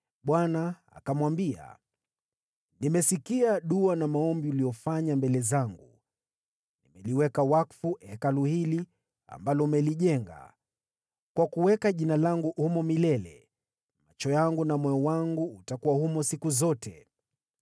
Bwana akamwambia: “Nimesikia dua na maombi uliyofanya mbele zangu, nimeliweka wakfu Hekalu hili ambalo umelijenga, kwa kuweka Jina langu humo milele. Macho yangu na moyo wangu utakuwa humo siku zote.